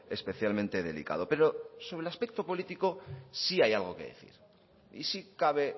especialmente delicado pero sobre el aspecto político sí hay algo que decir y sí cabe